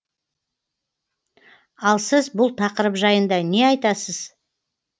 ал сіз бұл тақырып жайында не айтасыз